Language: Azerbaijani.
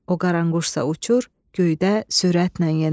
O qaranquşsa uçur göydə sürətlə yenə.